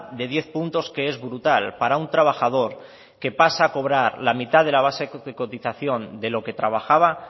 de diez puntos que es brutal para un trabajador que pasa a cobrar la mitad de la base de cotización de lo que trabajaba